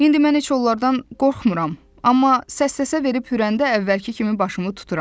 İndi mən heç onlardan qorxmuram, amma səs-səsə verib hürəndə əvvəlki kimi başımı tuturam.